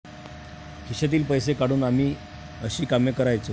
खिशातील पैसे काढून आम्ही अशी कामे करायचो.